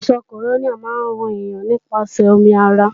Àìsàn kòrónà máa ń ràn yàn nípasẹ̀ omi ara